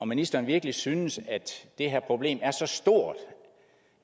ministeren virkelig synes at det her problem er så stort